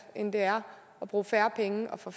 end det er at bruge færre penge og få